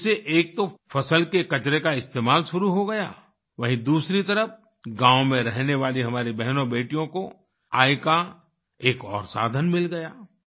इससे एक तो फसल के कचरे का इस्तेमाल शुरू हो गया वहीँ दूसरी तरफ गाँव में रहने वाली हमारी बहनोंबेटियों को आय का एक और साधन मिल गया